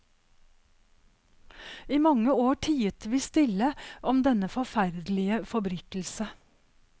I mange år tiet vi stille om denne forferdelige forbrytelse.